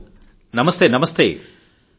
ఆగ్రాకు చెందిన అశోక్ కపూర్ గారితో మాట్లాడదాం